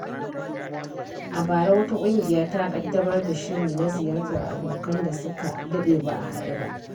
A bara, wata ƙungiya ta ƙaddamar da shiri na ziyartar abokan da suka daɗe ba a haɗu ba.